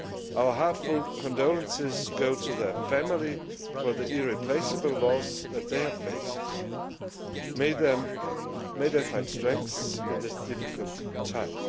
Our heartfelt condolences go to their families for the irreplaceable loss they have faced. May they find strength in this difficult time.